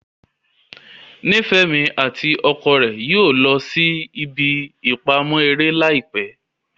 Nifemi ati ọkọ rẹ yóò lọ sí ìbí ipamọ eré laipẹ